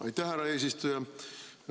Aitäh, härra eesistuja!